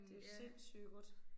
Det jo sindssygt godt